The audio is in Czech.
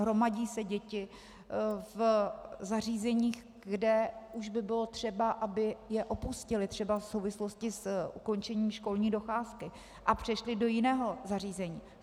Hromadí se děti v zařízeních, kde už by bylo třeba, aby je opustily třeba v souvislosti s ukončením školní docházky a přešly do jiného zařízení.